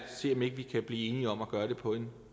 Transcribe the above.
ser om ikke vi kan blive enige om at gøre det på en